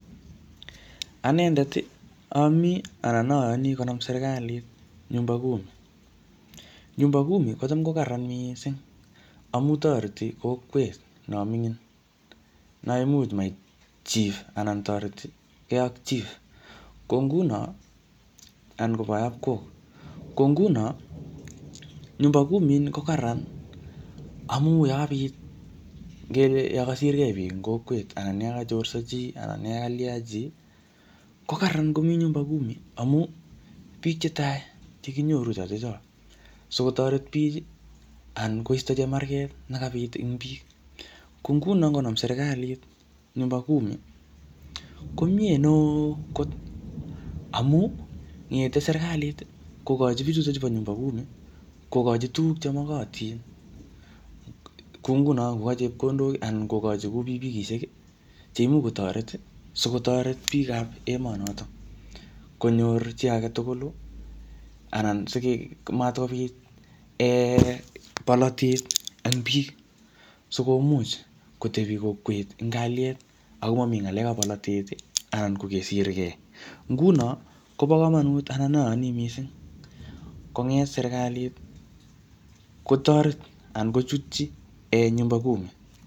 Anendet, amii anan ayani konam seriklit nyumba kumi. Nyumba kumi kocham ko karraran missing amu toreti kokwet no mingin, naimuch mait chief anan ne toretikei ak chief. Ko nguno, anan ko boyob kok. Ko nguno, nyumba kumi ini ko kararan, amu yakabit ngele yakasirgei biik ing kokwet anan yakachorso chi anan yakalya chii, ko kararan komii nyumba kumi amu, biik che tai che kinyoru chotocho sikotoret bich anan koisto chemarket ne kabiit eng biik. Ko nguno, ngonam serikalit nyumba kumi, komiee neoo kot amuu, ngete serikalit kokochi bichutochu bo nyumba kumi, kokochi tuguk che makatin. Kou nguno kokochi chepkondok anan kokochi ku pikipikishek che imuch kotoret, sikotoret biik ab emonotok. Konyor chi age tugul, anan simatkobit um bolotet eng biik, sikomuch kotebi kokwet eng kalyet, ako mami ngalek ab bolotet, anan kokesirkei. Nguno kobo komonut anan ayani missing konget serikalit, kotoret anan kochutchi um nyumba kumi.